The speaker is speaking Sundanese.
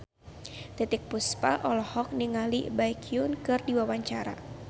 Titiek Puspa olohok ningali Baekhyun keur diwawancara